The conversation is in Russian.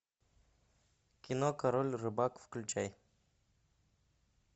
кино король рыбак включай